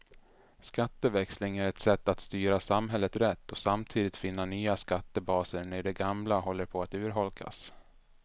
Skatteväxling är ett sätt att styra samhället rätt och samtidigt finna nya skattebaser när de gamla håller på att urholkas.